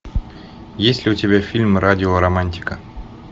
есть ли у тебя фильм радио романтика